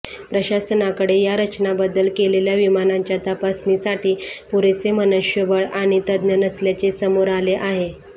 प्रशासनाकडे या रचनाबदल केलेल्या विमानांच्या तपासणीसाठी पुरेसे मनुष्यबळ आणि तज्ज्ञ नसल्याचे समोर आले आहे